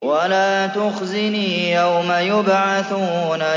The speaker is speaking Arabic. وَلَا تُخْزِنِي يَوْمَ يُبْعَثُونَ